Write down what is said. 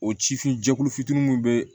O cifin jɛkulu fitinin mun be